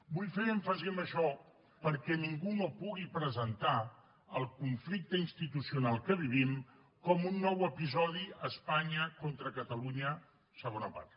vull fer èmfasi en això perquè ningú no pugui presentar el conflicte institucional que vivim com un nou episodi espanya contra catalunya segona part